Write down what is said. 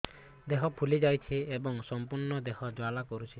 ଦେହ ଫୁଲି ଯାଉଛି ଏବଂ ସମ୍ପୂର୍ଣ୍ଣ ଦେହ ଜ୍ୱାଳା କରୁଛି